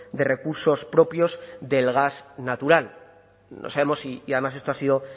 de recursos propios del gas natural no sabemos si y además esto ha sido